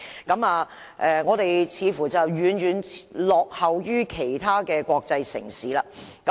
我們在這方面似乎遠遠落後於其他國際城市。